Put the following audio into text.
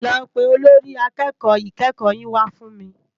Lò pé ólórì àkèkò ikèékò yin wá fún mi